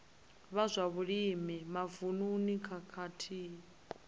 vha zwa vhulimi mavununi khathihi